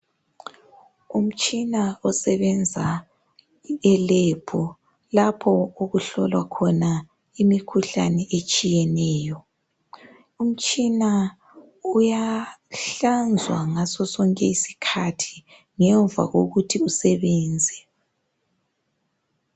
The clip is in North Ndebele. Umtshina osebenza elebhu lapho okuhlolwa khona imikhuhlane etshiyeneyo, umtshina uyahlanzwa ngaso sonke isikhathi ngemva kokuthi usebenze.